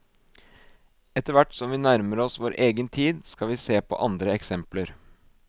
Etter hvert som vi nærmer oss vår egen tid skal vi se på andre eksempler.